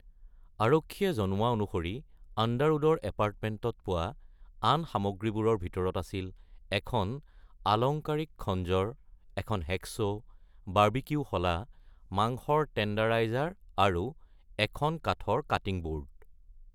আৰক্ষীয়ে জনোৱা অনুসৰি আণ্ডাৰউডৰ এপাৰ্টমেণ্টত পোৱা আন সামগ্ৰীবোৰৰ ভিতৰত আছিল এখন আলংকাৰিক খঞ্জৰ, এখন হেকচ', বাৰবিকিউ শলা, মাংসৰ টেণ্ডাৰাইজাৰ আৰু এখন কাঠৰ কাটিং বোৰ্ড।